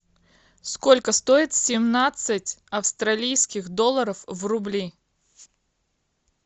сколько стоит семнадцать австралийских долларов в рубли